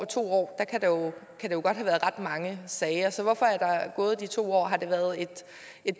to år have været ret mange sager så hvorfor er der gået de to år har det været et